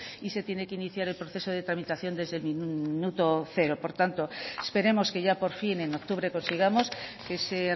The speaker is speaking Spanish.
y se tiene que iniciar el proceso de tramitación desde el minuto cero por tanto esperemos que ya por fin en octubre consigamos ese